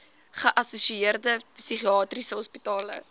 geassosieerde psigiatriese hospitale